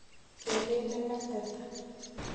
Kereen negateta.